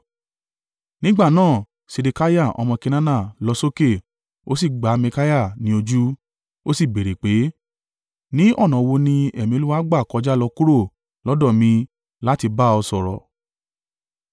Nígbà náà Sedekiah ọmọ Kenaana lọ sókè ó sì gbá Mikaiah ní ojú. Ó sì béèrè pé, “Ní ọ̀nà wo ni ẹ̀mí Olúwa gbà kọjá lọ kúrò lọ́dọ̀ mi láti bá ọ sọ̀rọ̀?”